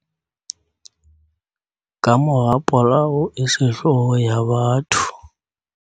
Kamora polao e sehloho ya batho